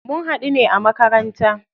Mun haɗu ne a makaranta.